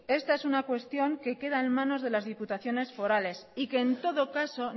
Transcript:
esta es una cuestión que queda en manos de las diputaciones forales y que en todo caso